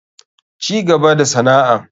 Cigaba da sana'an.